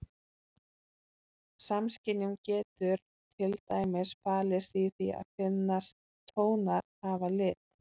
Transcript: Samskynjun getur til dæmis falist í því að finnast tónar hafa lit.